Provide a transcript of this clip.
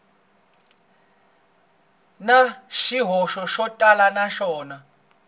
na swihoxo swo tala naswona